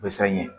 Ko sanɲɛ